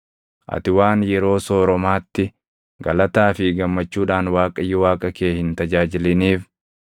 Ati waan yeroo sooromaatti galataa fi gammachuudhaan Waaqayyo Waaqa kee hin tajaajiliniif,